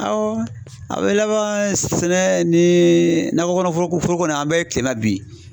Awɔ a be laban sɛnɛ ni nakɔ kɔnɔ foroko an bɛ kilenna bi.